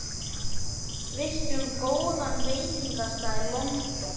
Veistu um góðan veitingastað í London?